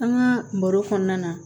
An ka baro kɔnɔna na